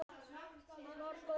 Sama gildir um okkar gjafir.